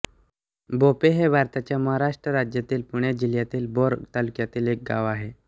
बोपे हे भारताच्या महाराष्ट्र राज्यातील पुणे जिल्ह्यातील भोर तालुक्यातील एक गाव आहे